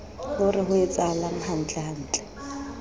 o re ho etsahalang hantlentle